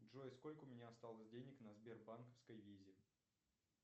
джой сколько у меня осталось денег на сбербанковской визе